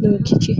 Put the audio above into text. n'okike.